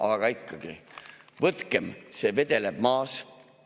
Aga ikkagi: võtkem, see vedeleb maas!